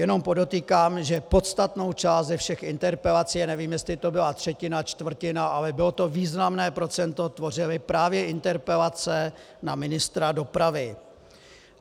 Jenom podotýkám, že podstatnou část ze všech interpelací - nevím, jestli to byla třetina, čtvrtina, ale bylo to významné procento - tvořily právě interpelace na ministra dopravy.